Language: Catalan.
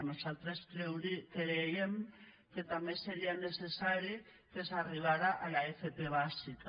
nosaltres creiem que també seria necessari que s’arribara a l’fp bàsica